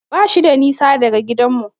Bashi da nisa daga gidanmu.